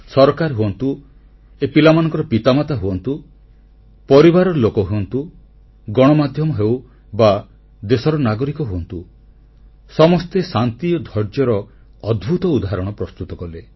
ସରକାର ହୁଅନ୍ତୁ ଏ ପିଲାମାନଙ୍କର ପିତାମାତା ହୁଅନ୍ତୁ ପରିବାର ଲୋକ ହୁଅନ୍ତୁ ଗଣମାଧ୍ୟମ ହେଉ ବା ଦେଶର ନାଗରିକ ହୁଅନ୍ତୁ ସମସ୍ତେ ଶାନ୍ତି ଓ ଧୈର୍ଯ୍ୟର ଅଦ୍ଭୁତ ଉଦାହରଣ ପ୍ରସ୍ତୁତ କଲେ